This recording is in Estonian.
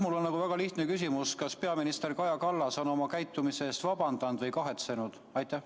Mul on väga lihtne küsimus: kas peaminister Kaja Kallas on oma käitumise eest vabandanud ja seda kahetsenud?